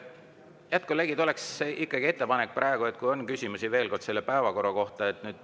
Head kolleegid, oleks ikkagi ettepanek, et kui on veel küsimusi selle päevakorra kohta …